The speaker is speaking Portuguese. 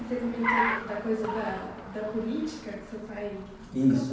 E você comentou da da coisa da da política que seu pai... Isso.